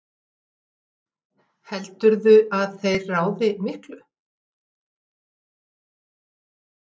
Jóhann: Heldurðu að þeir ráði miklu?